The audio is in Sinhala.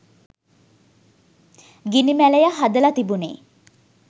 ගිනි මැලය හදලා තිබුණේ